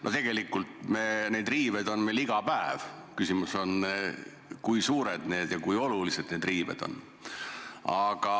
No tegelikult on meil neid riiveid iga päev, küsimus on selles, kui suured ja kui olulised need riived on.